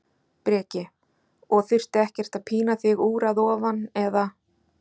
Breki: Og þurfti ekkert að pína þig úr að ofan, eða?